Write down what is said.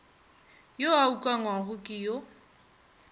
yo a ukangwago ke yo